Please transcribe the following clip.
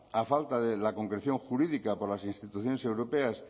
a falta de la concreción jurídica por las instituciones europeas